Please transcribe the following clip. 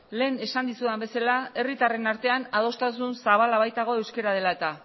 lehen esan dizudan bezala herritarren artean adostasun zabala baitago euskara dela eta